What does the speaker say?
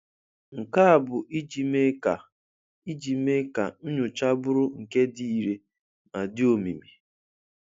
Nke a bụ ijị mee ka ijị mee ka nnyocha bụrụ nke di ìre ma di omimi